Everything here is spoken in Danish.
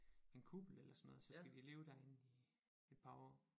En kuppel eller sådan noget og så skal de leve derinde i et par år